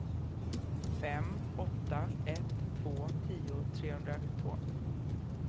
fem åtta ett två tio trehundratvå